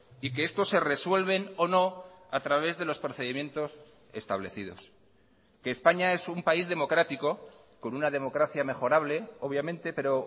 y que estos se resuelven o no a través de los procedimientos establecidos que españa es un país democrático con una democracia mejorable obviamente pero